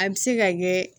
A bɛ se ka kɛ